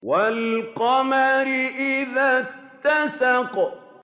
وَالْقَمَرِ إِذَا اتَّسَقَ